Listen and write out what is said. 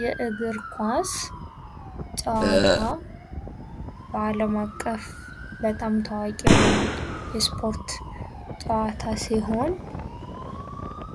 የእግር ኳስ ጨዋታ በዓለም አቀፍ በጣም ታዋቂ የሆነውን የስፖርት ጨዋታ ሲሆን፤